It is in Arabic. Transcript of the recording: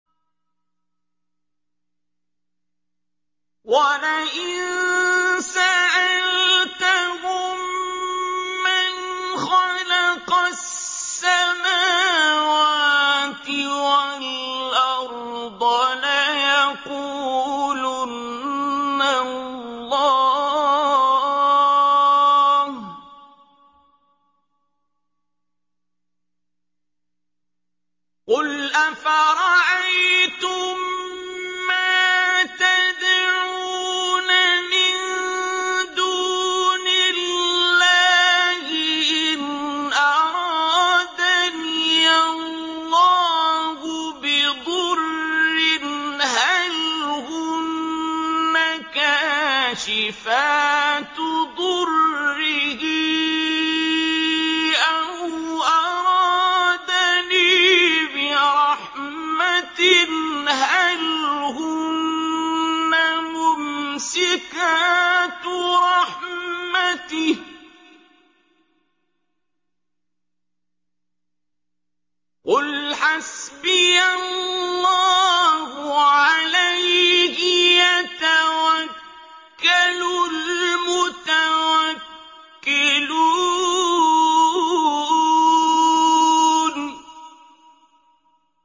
وَلَئِن سَأَلْتَهُم مَّنْ خَلَقَ السَّمَاوَاتِ وَالْأَرْضَ لَيَقُولُنَّ اللَّهُ ۚ قُلْ أَفَرَأَيْتُم مَّا تَدْعُونَ مِن دُونِ اللَّهِ إِنْ أَرَادَنِيَ اللَّهُ بِضُرٍّ هَلْ هُنَّ كَاشِفَاتُ ضُرِّهِ أَوْ أَرَادَنِي بِرَحْمَةٍ هَلْ هُنَّ مُمْسِكَاتُ رَحْمَتِهِ ۚ قُلْ حَسْبِيَ اللَّهُ ۖ عَلَيْهِ يَتَوَكَّلُ الْمُتَوَكِّلُونَ